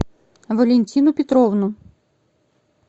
валентину петровну